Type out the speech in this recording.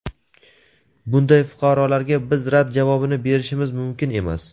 bunday fuqarolarga biz rad javobini berishimiz mumkin emas.